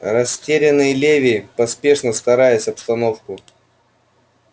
растерянный леви поспешно стараясь обстановку